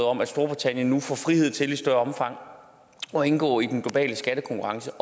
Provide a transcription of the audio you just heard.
om at storbritannien nu får frihed til i større omfang at indgå i den globale skattekonkurrence